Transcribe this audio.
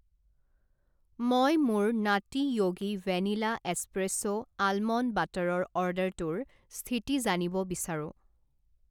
মই মোৰ নাটী য়োগী ভেনিলা এস্প্ৰেছ' আলমণ্ড বাটাৰৰ অৰ্ডাৰটোৰ স্থিতি জানিব বিচাৰোঁ।